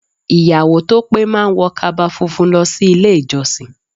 Ìyàwó to pé má ń wọ kaba funfun lọ sí ilé ìjọsìn.